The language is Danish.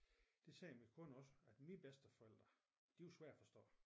Det siger min kone også at mine bedsteforældre de var svære at forstå